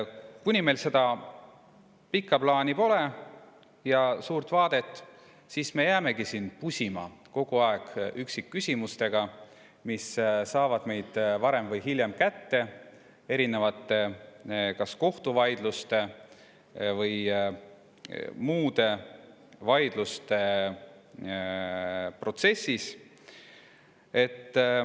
Kuni meil seda pikka plaani ja suurt vaadet pole, jäämegi me siin kogu aeg pusima üksikküsimustega, mis saavad meid varem või hiljem kätte kas erinevate kohtuvaidluste või muude vaidluste protsessis.